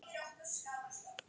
Hún bæði gefur og tekur.